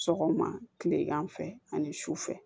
Sɔgɔma kilegan fɛ ani su fɛ